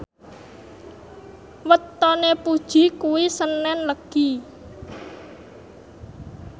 wetone Puji kuwi senen Legi